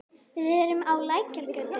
Við erum á Lækjargötu.